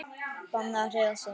Bannað að hreyfa sig.